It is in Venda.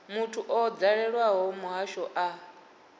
muthu o dalelaho muhasho a